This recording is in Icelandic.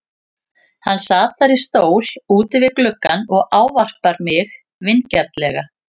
Hann sat þar í stól úti við gluggann og ávarpar mig vingjarnlega.